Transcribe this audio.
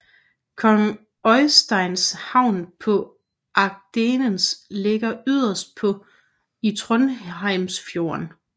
Kong Øysteins havn på Agdenes ligger yderst i Trondheimsfjorden